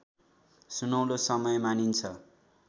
सुनौलो समय मानिन्छ